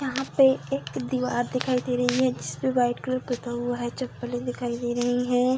यहां पे एक दिवार दिखाई दे रही है जिसपे व्हाइट कलर पूता हुआ है चप्पलें दिखाई दे रही है।